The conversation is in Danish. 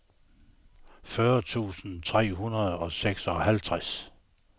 fyrre tusind tre hundrede og seksoghalvtreds